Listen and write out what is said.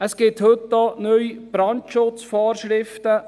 Es gibt heute auch neue Brandschutzvorschriften.